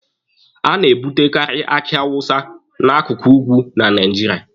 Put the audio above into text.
A na-ebutekaari aki awusa n'akụkụ ugwu na Naijiria.